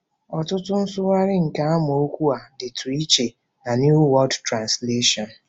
Ọtụtụ nsụgharị nke amaokwu a dịtụ iche na New World Translation.